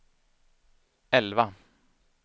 elva